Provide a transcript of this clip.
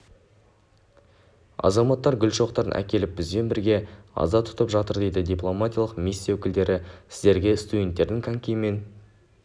азаматтар гүл шоқтарын әкеліп бізбен бірге аза тұтып жатыр дейді дипломатиялық миссия өкілдері сіздерге студенттердің конькимен